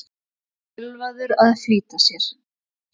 Ölvaður að flýta sér